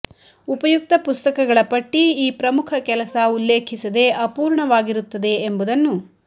ಉಪಯುಕ್ತ ಪುಸ್ತಕಗಳ ಪಟ್ಟಿ ಈ ಪ್ರಮುಖ ಕೆಲಸ ಉಲ್ಲೇಖಿಸದೆ ಅಪೂರ್ಣವಾಗಿರುತ್ತದೆ ಎಂಬುದನ್ನು